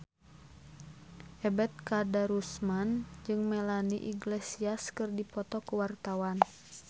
Ebet Kadarusman jeung Melanie Iglesias keur dipoto ku wartawan